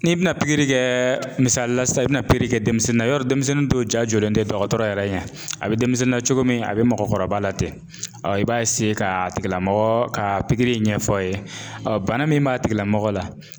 N'i bɛna kɛ misali la sisan i bɛna kɛ denmisɛnnin na yarɔ denmisɛnnin dɔw ja jɔlen tɛ dɔgɔtɔrɔ yɛrɛ ɲɛ a bɛ denmisɛnnin na cogo min a bɛ mɔgɔkɔrɔba latɛ i b'a ka a tigilamɔgɔ ka pikiri in ɲɛf'a ye bana min b'a tigilamɔgɔ la.